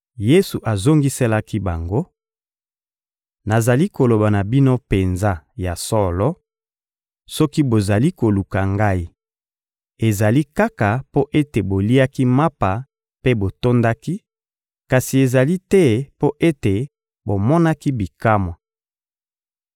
Yesu azongiselaki bango: — Nazali koloba na bino penza ya solo: soki bozali koluka Ngai, ezali kaka mpo ete boliaki mapa mpe botondaki, kasi ezali te mpo ete bomonaki bikamwa.